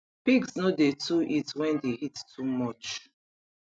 pigs no dey too eat wen d heat too much